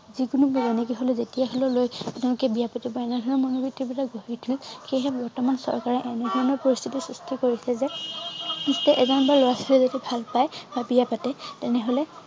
যিকোনো পুৰনি গৃহলৈ যেতিয়া লৈ তেওঁলোকে বিয় পাতে বা এনেধৰণৰ মনবিত্তি বিলাক গঢ় উঠিল সেইহে বৰ্তমান চৰকাৰে এনধৰণৰ পৰিস্থিতি সৃষ্টি কৰিছে যে এজন বা লৰা ছোৱালীয়ে যদি ভাল পায় বা বিয়া পাতে তেনেহলে